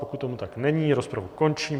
Pokud tomu tak není, rozpravu končím.